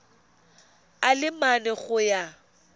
a le mane go ya